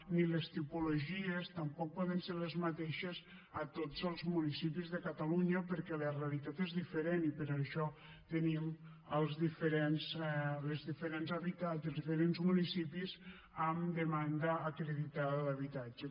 ni les tipologies tampoc poden ser les mateixes a tots els municipis de catalunya perquè la realitat és diferent i per això tenim els diferents municipis amb demanda acreditada d’habitatge